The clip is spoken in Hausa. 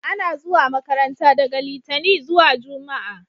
A na zuwa makaranta daga litani zuwa jumma'a